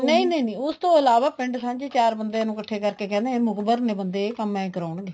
ਨਹੀਂ ਨਹੀਂ ਨਹੀਂ ਉਸ ਤੋਂ ਬਾਅਦ ਉਸ ਤੋਂ ਇਲਾਵਾ ਪਿੰਡ ਸਾਂਝੇ ਚਾਰ ਬੰਦਿਆਂ ਨੂੰ ਇੱਕਠਾ ਕਰਕੇ ਕਹਿੰਦੇ ਇਹ ਮੁਕਬਰ ਨੇ ਬੰਦੇ ਇਹ ਕੰਮ ਏ ਕਰਾਉਣ ਗਏ